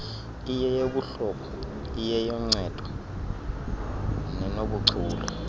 iyeyobuhlobo iyenoncedo nenobuchule